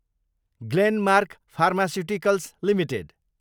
Glenmark pharmaceuticals Ltd